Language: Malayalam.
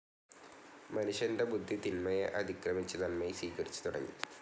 മനുഷ്യന്റെ ബുദ്ധി തിന്മയെ അതിക്രമിച്ചു നന്മയെ സ്വീകരിച്ചു തുടങ്ങി.